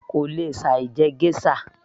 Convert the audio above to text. kò lè ṣe láì jẹ geisha